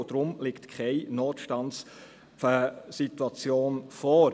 Deshalb liegt keine Notstandssituation vor.